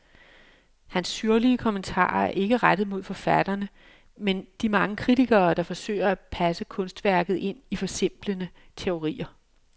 Hans syrlige kommentarer er ikke rettet mod forfatterne, men de mange kritikere, der forsøger at passe kunstværket ind i forsimplende teorier.